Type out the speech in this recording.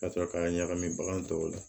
Ka sɔrɔ k'a ɲagami bagan tɔw la